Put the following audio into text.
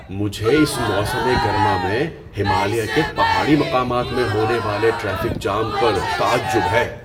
مجھے اس موسم گرما میں ہمالیہ کے پہاڑی مقامات میں ہونے والے ٹریفک جام پر تعجب ہے!